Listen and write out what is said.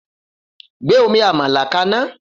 Gbé omi àmàlà kaná!